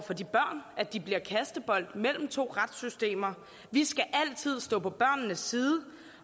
for de børn at de bliver kastebold mellem to retssystemer vi skal altid stå på børnenes side